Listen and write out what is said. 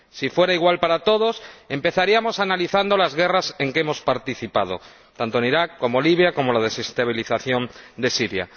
Si fuera igual para todos, empezaríamos analizando las guerras en que hemos participado ―tanto en Irak como Libia, o la desestabilización de Siria―.